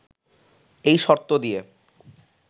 এই শর্ত দিয়ে